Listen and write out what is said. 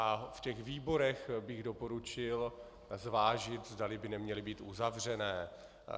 A v těch výborech bych doporučil zvážit, zdali by neměly být uzavřené.